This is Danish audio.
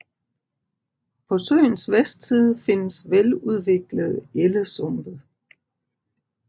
På søens vestside findes veludviklede ellesumpe